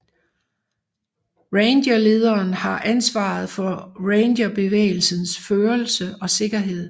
Rangerlederen har ansvaret for rangerbevægelsens førelse og sikkerhed